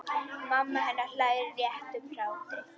Mamma hennar hlær léttum hlátri.